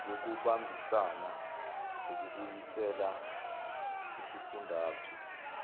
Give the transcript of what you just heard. yokubambisana ukubuyisela isifundazwe